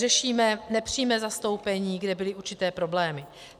Řešíme nepřímé zastoupení, kde byly určité problémy.